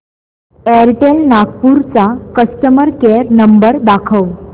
Airtel Nagpur चा customer care number दाखव